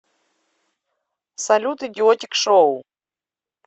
салют идиотик шоу